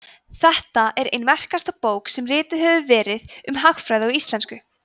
þetta er ein merkasta bók sem rituð hefur verið um hagfræði á íslensku